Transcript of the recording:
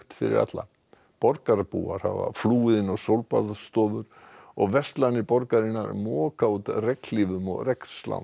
fyrir alla borgarbúar hafa flúið inn á sólbaðsstofur og verslanir borgarinnar moka út regnhlífum og